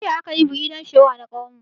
Jiya akayi "bridal shower"na ƙawarmu.